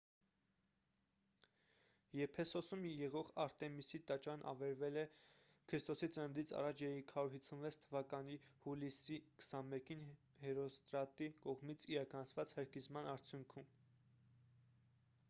եփեսոսում եղող արտեմիսի տաճարն ավերվել է ք.ծ.ա. 356 թվականի հուլիսի 21-ին հերոստրատի կողմից իրականացված հրկիզման արդյունքում